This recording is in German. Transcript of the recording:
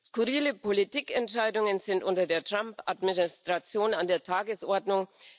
Skurrile Politikentscheidungen sind unter der Trump Administration an der Tagesordnung.